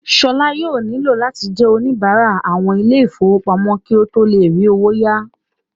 Ṣọlá yóò nílò láti jẹ́ oníbárà àwọn ilé ìfowópamọ́ kí ó tó le rí owó ya